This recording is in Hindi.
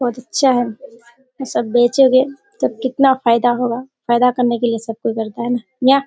बहुत अच्छा है | ये सब बेचोगे तो कितना फायदा होगा फायदा करने के लिए सब कोई करता है।